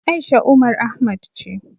A'isha Umar Ahmad ce.